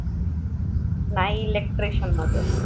नाही electrition मधे.